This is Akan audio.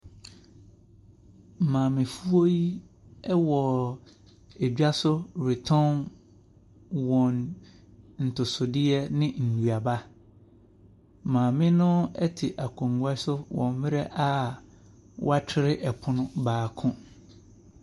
Maamefoɔ yi ɛwɔ edwaso retɔn wɔn ntosodeɛ ne nnuaba. Maame no ɛte akonwa so wɔ mmrɛ a ɔtwere ɛpono baako.